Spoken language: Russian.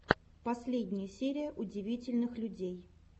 последняя серия удивительных людей